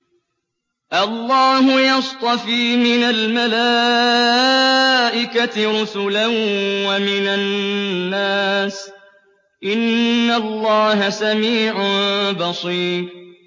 اللَّهُ يَصْطَفِي مِنَ الْمَلَائِكَةِ رُسُلًا وَمِنَ النَّاسِ ۚ إِنَّ اللَّهَ سَمِيعٌ بَصِيرٌ